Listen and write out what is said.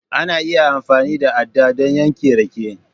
Ana iya amfani da aɗɗa don yanke rake